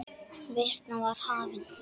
Veislan var hafin.